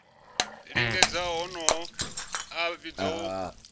lingedza honoho a vhidzwa u